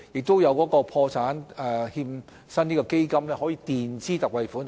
在有需要時，破欠基金亦會墊支特惠款項。